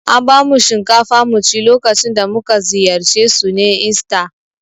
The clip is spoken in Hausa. An bamu shinkafa mu ci lokacin da mu ka ziyarce su ne ista.